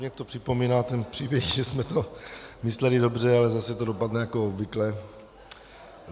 Mně to připomíná ten příběh, že jsme to mysleli dobře, ale zase to dopadne jako obvykle.